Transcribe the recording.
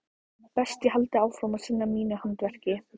Best ég haldi áfram að sinna mínu handverki.